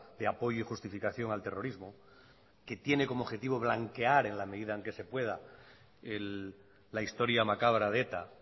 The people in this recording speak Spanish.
de apoyo y justificación al terrorismo que tiene como objetivo blanquear en la medida en que se pueda la historia macabra de eta